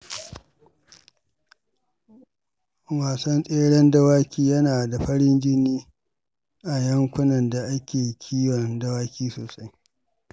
Wasan tseren dawaki yana da farin jini a yankunan da ake kiwon dawaki sosai.